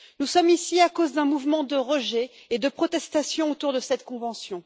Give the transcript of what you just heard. Nous sommes ici à cause d'un mouvement de rejet et de protestation autour de cette convention.